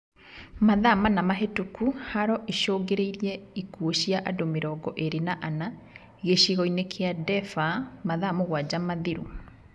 Mathaa mana mahĩtũku haro icũngĩrĩirie ikuũ cia andũ mĩrongo ĩrĩ na ana, gĩcigo-inĩ kia Daefur mathaa mũgwanja mathiru